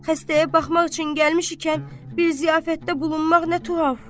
Xəstəyə baxmaq üçün gəlmişkən bir ziyafətdə bulunmaq nə tuhaf.